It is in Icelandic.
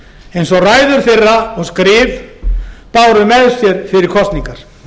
eins og ræður þeirra og skrif báru með sér fyrir kosningar